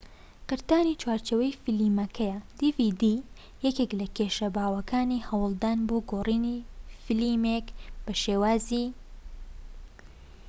یەکێك لە کێشە باوەکانی هەوڵدان بۆ گۆڕینی فلیمێك بۆ شێوازی dvd قرتانی چوارچێوەی فلیمەکەیە